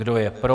Kdo je pro?